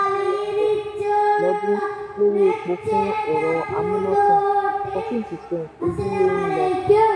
billion dollar lọ́dún lórí epo fún ẹ̀rọ amúnátàn; fourteen percent ojúlé n lọ.